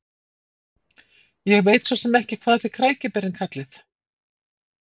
Ég veit svosem ekki hvað þið krækiberin kallið.